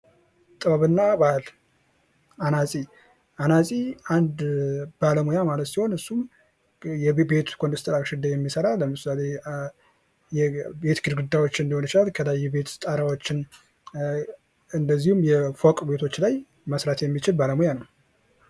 ጥበብና ባህል አናጺ አንድ ባለሙያ ማለት ሲሆን እሱም የቤት ውስጥ ኮንስትራክሽን ላይ የሚሠራ የቤት ውስጥ ግድግዳዎችን ሊሆን ይችላል ከላይ የቤት ውስጥ ጣራዎችን እንደዚሁም ፎቅ ቤቶች ላይ መስራት የሚችል ባለሙያ ነው።